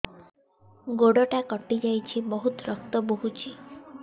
ଗୋଡ଼ଟା କଟି ଯାଇଛି ବହୁତ ରକ୍ତ ବହୁଛି